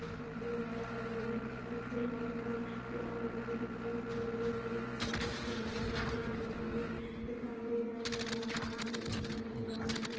दिखाई दे रहा है वो नदी के किनारे पर लाल मिट्टी दिखाई दे रही है बहुत सारे किनारे पर पेड़ पौधे भी देखाई दे रहे है और ये आसमान सफेद दिखाई दे रहा है नदी--